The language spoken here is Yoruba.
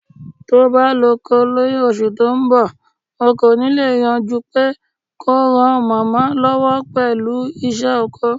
Tó'ba lọ́'ko ni oṣù tó ńbọ̀, o kò ní lè yàn jupé kó ran màmá lọ́wọ́ pẹ̀lú ìṣe ọkọ.